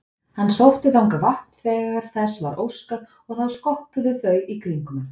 Hann sótti þangað vatn þegar þess var óskað og þá skoppuðu þau í kringum hann.